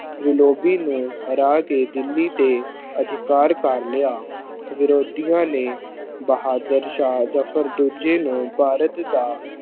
ਨੂੰ ਹਰਾ ਕੇ ਦਿੱਲੀ ਤੇ ਅਧਿਕਾਰ ਕਰ ਲਿਆ, ਵਿਰੋਧੀਆਂ ਨੇ ਬਹਾਦਰ ਸ਼ਾਹ ਜਫ਼ਰ ਦੂਜੇ ਨੂੰ ਭਾਰਤ ਦਾ